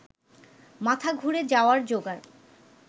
মাথা ঘুরে যাওয়ার জোগাড়